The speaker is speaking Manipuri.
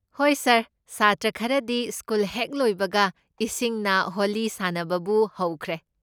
ꯍꯣꯏ ꯁꯥꯔ, ꯁꯥꯇ꯭ꯔ ꯈꯔꯗꯤ ꯁ꯭ꯀꯨꯜ ꯍꯦꯛ ꯂꯣꯏꯕꯒ ꯏꯁꯤꯡꯅ ꯍꯣꯂꯤ ꯁꯥꯅꯕꯕꯨ ꯍꯧꯈ꯭ꯔꯦ꯫